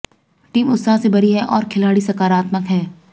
team उत्साह से भरी है और खिलाड़ी सकारात्मक हैं